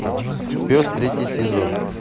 пес третий сезон